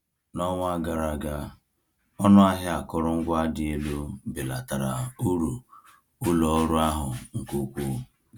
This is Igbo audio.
N’ọnwa gara aga, ọnụ ahịa akụrụngwa dị elu belatara uru ụlọ ọrụ ahụ nke ukwuu.